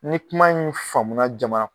Ni kuma in faamuna jamana